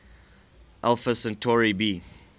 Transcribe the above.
alpha centauri b